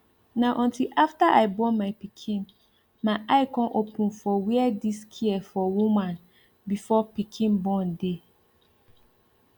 na until after i born my pikin my eye come open for where this care for woman before pikin born dey